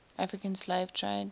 african slave trade